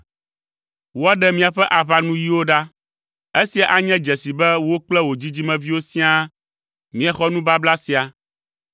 Woaɖe miaƒe aʋanuyiwo ɖa. Esia anye dzesi be wò kple wò dzidzimeviwo siaa miexɔ nubabla sia.